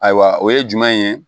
Ayiwa o ye jumɛn ye